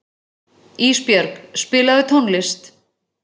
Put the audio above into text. Ísbjörg, spilaðu tónlist.